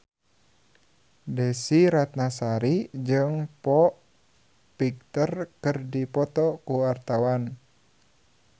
Desy Ratnasari jeung Foo Fighter keur dipoto ku wartawan